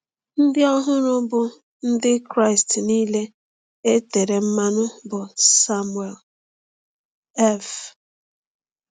Ndị ọhụrụ, bụ ndị Kraịst niile e tere mmanụ, bụ Samuel F.